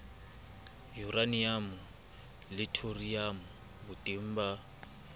yuraniamo le thoriamo boteng ba